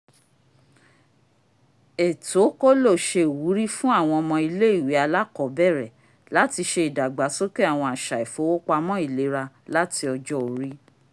ètó kólò ṣe iwuri fun awọn ọmọ ile-iwe alakọbẹrẹ lati ṣe ìdàgbàsókè awọn aṣa ifowopamọ ìlera láti ọjọ́-orí